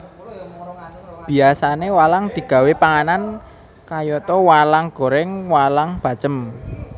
Biyasané walang digawé panganan kayata walang goreng walang bacem